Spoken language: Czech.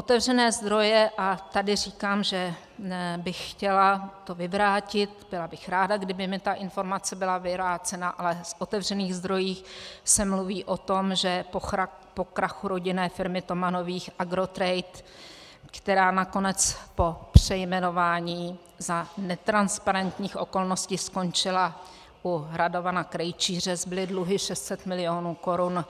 Otevřené zdroje, a tady říkám, že bych chtěla to vyvrátit, byla bych ráda, kdyby mi ta informace byla vyvrácena, ale v otevřených zdrojích se mluví o tom, že po krachu rodinné firmy Tomanových Agrotrade, která nakonec po přejmenování za netransparentních okolností skončila u Radovana Krejčíře, zbyly dluhy 600 milionů korun,